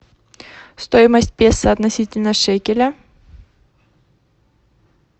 стоимость песо относительно шекеля